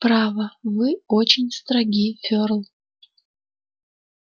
право вы очень строги ферл